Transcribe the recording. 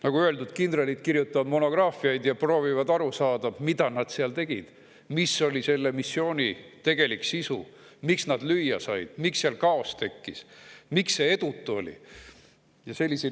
Nagu öeldud, kindralid kirjutavad monograafiaid ja proovivad aru saada, mida nad seal tegid, mis oli selle missiooni tegelik sisu, miks nad lüüa said, miks seal kaos tekkis, miks see missioon oli edutu.